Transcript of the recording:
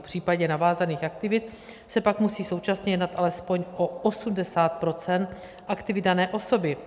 V případě navázaných aktivit se pak musí současně jednat alespoň o 80 % aktivit dané osoby.